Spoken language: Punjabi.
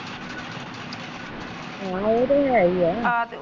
ਹੁਣ ਇਹ ਤੇ ਹੈਈ ਆ ਆ ਤੇ,